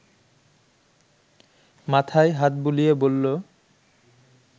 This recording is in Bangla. মাথায় হাত বুলিয়ে বলল